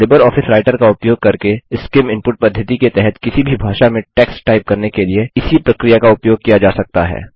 LibreOffice Writer का उपयोग करके सीआईएम इनपुट पद्धति के तहत किसी भी भाषा में टेक्स्ट टाइप करने के लिए इसी प्रक्रिया का उपयोग किया जा सकता है